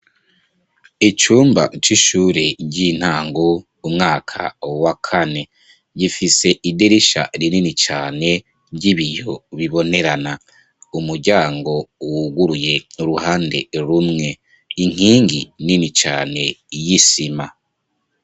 Icumba c'ishure ry'intango umwaka wa kane gifise idirisha rinini cane ry'ibiyo bibonerana umuryango wuguruye uruhande rumwe inkingi nini cane y'isima.